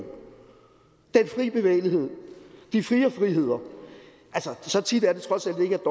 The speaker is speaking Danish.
den fri bevægelighed de fire friheder altså så tit er det trods alt ikke at